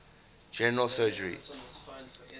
general surgery